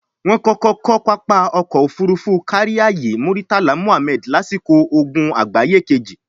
wọ́n kọ́kọ́ kọ́ pápá Ọkọ̀ Òfurufú Káríayé Múrítàlá Mùhammẹ̀d lásìkò ogun àgbáyé kejì